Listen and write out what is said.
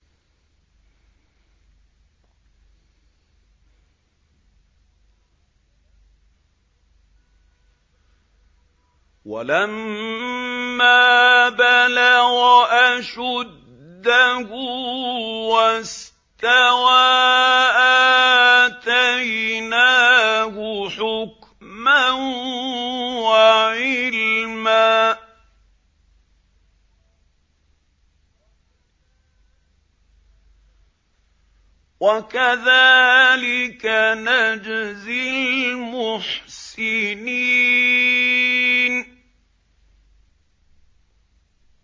وَلَمَّا بَلَغَ أَشُدَّهُ وَاسْتَوَىٰ آتَيْنَاهُ حُكْمًا وَعِلْمًا ۚ وَكَذَٰلِكَ نَجْزِي الْمُحْسِنِينَ